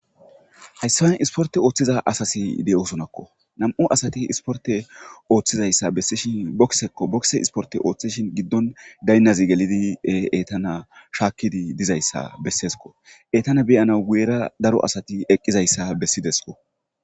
Hayssawen isporte ooththiza asasi de'osonakko nam'u asati isporte ooththizayssa bessishin boksekko bokse isporte ooththishin giddon gaynazi gelidi e eetana shaakkidi dizayssa besseesko eetana beyana weera daro asati eqqizayssa bessidesko.